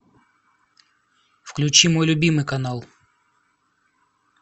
включи мой любимый канал